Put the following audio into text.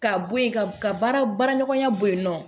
Ka bɔ yen ka ka baara baara ɲɔgɔnya bɔ yen nɔ